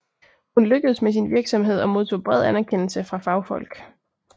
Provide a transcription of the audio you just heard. Hun lykkedes med sin virksomhed og modtog bred anerkendelse fra fagfolk